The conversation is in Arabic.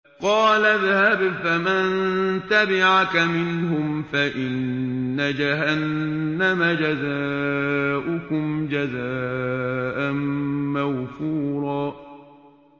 قَالَ اذْهَبْ فَمَن تَبِعَكَ مِنْهُمْ فَإِنَّ جَهَنَّمَ جَزَاؤُكُمْ جَزَاءً مَّوْفُورًا